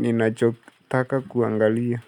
ninachotaka kuangalia.